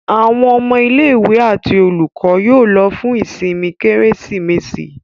Àwọn ọmọ ilé-ìwé àti olùkọ́ yóò lọ fún ìsinmi Kérésìmesì.